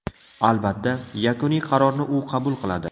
Albatta, yakuniy qarorni u qabul qiladi.